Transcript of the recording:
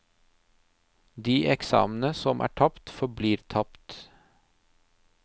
De eksamene som er tapt, forblir tapt.